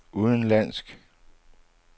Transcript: udenlandsk